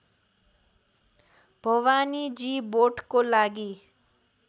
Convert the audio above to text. भवानीजी बोटको लागि